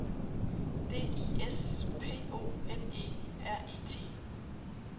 D I S P O N E R E T